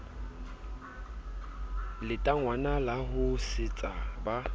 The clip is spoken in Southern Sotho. letangwana la ho sesetsa ba